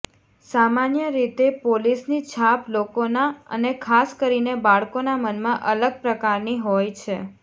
સામાન્ય રીતે પોલીસની છાપ લોકોના અને ખાસ કરીને બાળકોના મનમાં અલગ પ્રકારની હોય છે